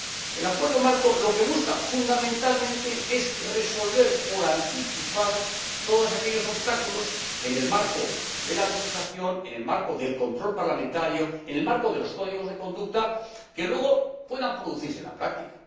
El Acuerdo marco lo que busca fundamentalmente es resolver por anticipado todos aquellos obstáculos —en el marco de la legislación, en el marco del control parlamentario, en el marco de los códigos de conducta— que luego puedan producirse en la práctica.